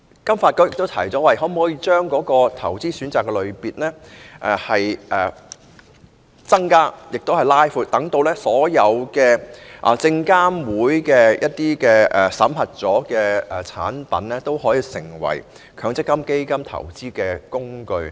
金發局亦提出，增加及擴闊投資選擇的類別，讓所有獲證券及期貨事務監察委員會審核的產品成為強積金的基金投資工具。